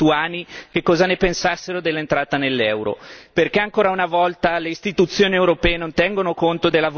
Mi domando perché non si sia fatto un referendum per chiedere ai cittadini lituani che cosa ne pensassero dell'entrata nell'euro.